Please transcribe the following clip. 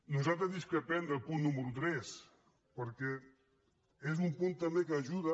nosaltres discrepem del punt número tres perquè és un punt també que ajuda